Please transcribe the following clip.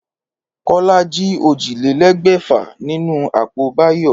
Kólá jí ójìlélégbèfà nínú àpò Báyò